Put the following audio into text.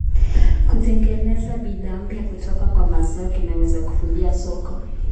Kutengeneza bidhaa mpya kutoka kwa mazao kunaweza kuvutia soko.